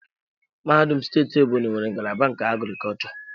Mahadum steeti Ebonyi nwere ngalaba nke agriculture.